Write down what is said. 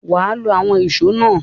Wà á lo àwọn ìṣó náà!